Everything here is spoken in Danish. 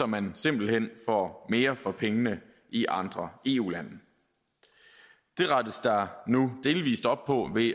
man simpelt hen får mere for pengene i andre eu lande det rettes der nu delvis op på ved at